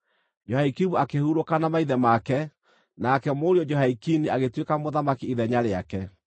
Jehoiakimu akĩhurũka na maithe make. Nake mũriũ Jehoiakini agĩtuĩka mũthamaki ithenya rĩake.